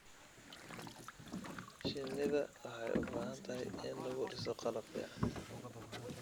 Shinnida waxay u baahan tahay in lagu dhiso qalab fiican.